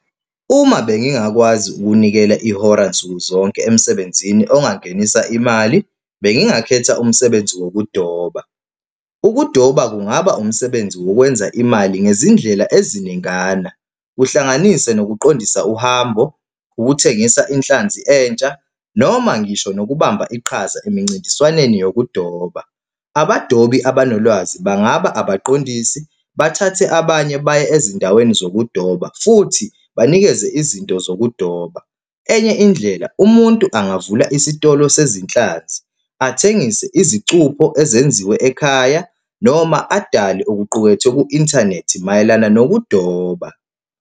Uma bengingakwazi ukunikela ihora nsuku zonke emsebenzini ongangenisa imali, bengingakhetha umsebenzi wokudoba. Ukudoba kungaba umsebenzi wokwenza imali ngezindlela eziningana, kuhlanganise nokuqondisa uhambo, ukuthengisa inhlanzi entsha noma ngisho nokubamba iqhaza emincintiswaneni yokudoba. Abadobi abanolwazi bangaba abaqondisi, bathathe abanye baye ezindaweni zokudoba futhi banikeze izinto zokudoba. Enye indlela umuntu angavula isitolo sezinhlanzi, athengise izicupho ezenziwe ekhaya, noma adale okuqukethwe ku-inthanethi mayelana nokudoba.